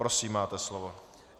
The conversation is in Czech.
Prosím, máte slovo.